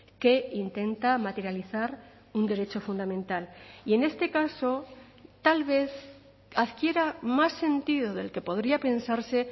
que intenta materializar un derecho fundamental y en este caso tal vez adquiera más sentido del que podría pensarse